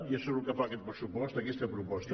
i això és el que fa aquest pressupost aquesta proposta